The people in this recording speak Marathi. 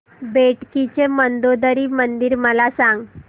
बेटकी चे मंदोदरी मंदिर मला सांग